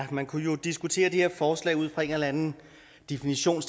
man kunne jo diskutere det her forslag ud fra en eller anden definition